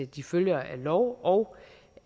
de følger af lov og